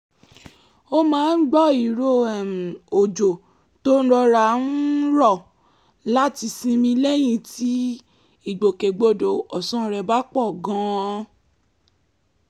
ó máa ń gbọ́ ìró um òjò tó ń rọra um rọ̀ láti sinmi lẹ́yìn tí ìgbòkè-gbodọ̀ ọ̀sán rẹ̀ bá pọ̀ gan-an